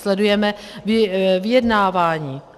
Sledujeme vyjednávání.